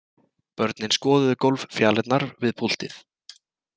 Börnin skoðuðu gólffjalirnar við púltið.